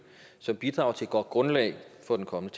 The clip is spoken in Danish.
som bidrager til et godt grundlag for den kommende